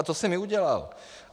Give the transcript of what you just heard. A to jsem i udělal.